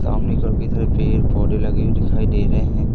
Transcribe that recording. सामने घर के तरफ पेड़ पौधे लगे हुए दिखाई दे रहे हैं।